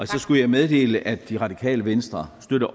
så skulle jeg meddele at det radikale venstre